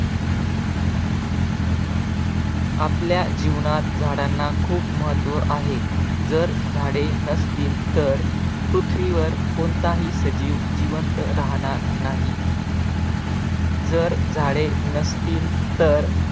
आपल्या जीवनात झाडांना खूप महत्त्व आहे. जर झाडे नसतील तर पृथ्वीवर कोणताही सजीव जिवंत राहणार नाही. जर झाडे नसतील तर